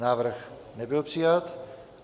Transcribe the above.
Návrh nebyl přijat.